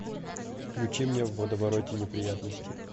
включи мне в водовороте неприятностей